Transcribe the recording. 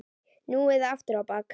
Nú eða aftur á bak!